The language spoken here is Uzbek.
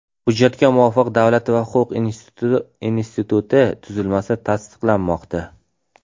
Hujjatga muvofiq Davlat va huquq instituti tuzilmasi tasdiqlanmoqda.